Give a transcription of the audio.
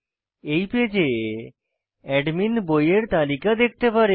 এই পেজে অ্যাডমিন বইয়ের তালিকা দেখতে পারে